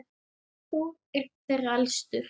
Þór er þeirra elstur.